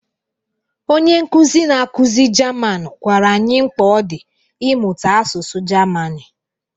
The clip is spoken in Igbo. Onye nkuzi na-akụzi Jaman gwara anyị mkpa ọ dị ịmụta asụsụ Gemanị.